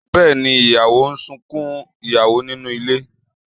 Bẹ́èni, ìyàwó ń sunkún ìyàwó nínú ilé